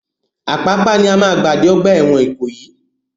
Apapa ni máa gbà dé ọgbà ẹ̀wọ̀n Ìkòyí.